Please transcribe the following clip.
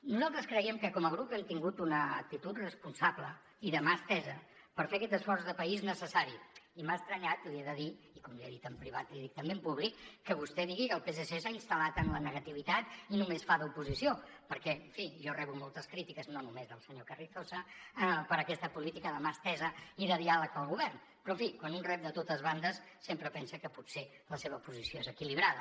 nosaltres creiem que com a grup hem tingut una actitud responsable i de mà estesa per fer aquest esforç de país necessari i m’ha estranyat li he de dir i com li he dit en privat li dic també en públic que vostè digui que el psc s’ha instal·lat en la negativitat i només fa d’oposició perquè en fi jo rebo moltes crítiques no només del senyor carrizosa per aquesta política de mà estesa i de diàleg pel govern però en fi quan un rep de totes bandes sempre pensa que potser la seva posició és equilibrada